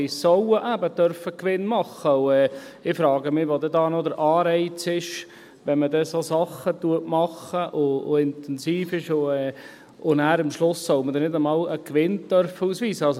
Die sollen eben Gewinn machen dürfen, und ich frage mich, wo denn hier noch der Anreiz ist, wenn man Sachen macht, die intensiv sind, und dann am Schluss soll man nicht einmal einen Gewinn ausweisen dürfen.